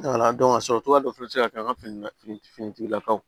a sɔrɔcogoya dɔ fɛnɛ bɛ se ka kɛ an ka finitigilakaw